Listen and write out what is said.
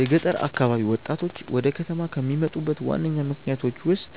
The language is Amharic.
የገጠር አካባቢ ወጣቶች ወደ ከተማ ከሚመጡበት ዋነኛ ምክንያቶች ውስጥ